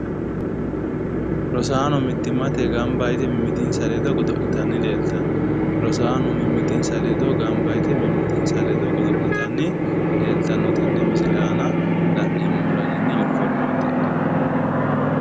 Rosaano mittimmate ganba yite mimmitinsa ledo godo'litanni leeltanno rosaano mimmitinsa ledo ganba yite mimmitinsa ledo godo'litanni leeltanno tenne misile aana la'neemo raginni uniforme uddidhe